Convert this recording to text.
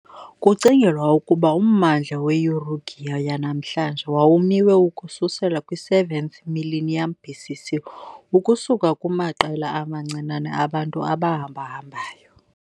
Kucingelwa ukuba ummandla we-Uruguay yanamhlanje wawumiwe ukususela kwi -7th millennium BC.C. ukusuka kumaqela amancinane abantu abahambahambayo .